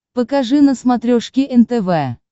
покажи на смотрешке нтв